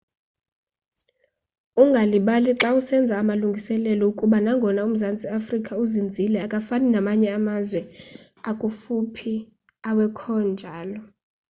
ungalibali xa usenza amalungiselelo ukuba nangona umzantsi africa uzinzile akafani namanye amazwe akufuphi awekhonjalo